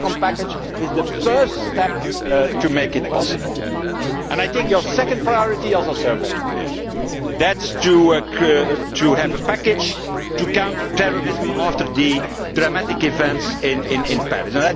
A telecom package is the first step to make it possible, and I think your second priority is also very clear that is, to have a package to counter terrorism after the dramatic events in Paris.